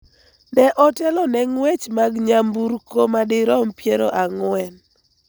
ne otelo ne ng�wech mag nyamburko madirom piero ang'wen,